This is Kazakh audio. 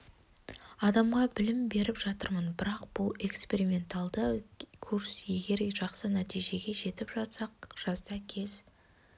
адамға білім беріп жатырмын бірақ бұл эксперименталды курс егер жақсы нәтижеге жетіп жатсақ жазда кез